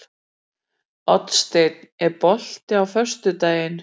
Oddsteinn, er bolti á föstudaginn?